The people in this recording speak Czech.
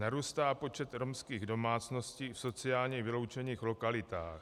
Narůstá počet romských domácností v sociálně vyloučených lokalitách.